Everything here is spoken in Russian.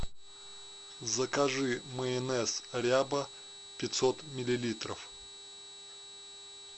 закажи майонез ряба пятьсот миллилитров